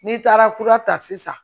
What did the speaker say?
N'i taara kura ta sisan